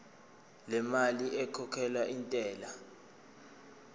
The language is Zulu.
lemali ekhokhelwa intela